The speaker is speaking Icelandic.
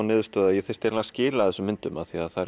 niðurstöðu að ég þyrfti að skila þessum myndum því að